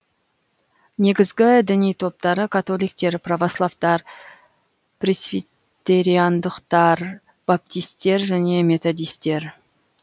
негізгі діни топтары католиктер православтар пресвитериандықтар баптисттер және методисттер